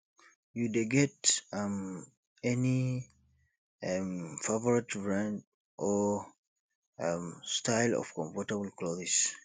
you dey get um any um favorite brand or um style of comfortable clothes